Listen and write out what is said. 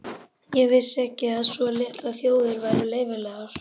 Ég vissi ekki að svo litlar þjóðir væru leyfilegar.